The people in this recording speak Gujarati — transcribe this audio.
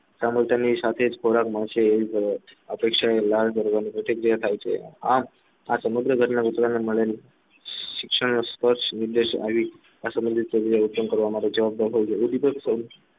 સાથે ખોરાક મળશે એવી અપેક્ષા લાળ ધરવાની પ્રતિક્રિયા થાય છે આ આ સમગ્ર ઘટના શિક્ષણને સ્પષ્ટ ઉદ્દેશ આ સામાજિક જવાબદાર હોય છે